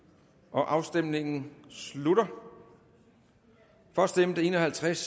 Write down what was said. afstemningen slutter for stemte en og halvtreds